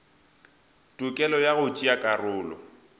tokelo ya go tšea karolo